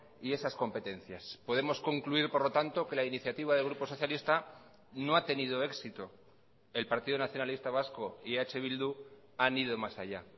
y esas competencias podemos concluir por lo tanto que la iniciativa del grupo socialista no ha tenido éxito el partido nacionalista vasco y eh bildu han ido más allá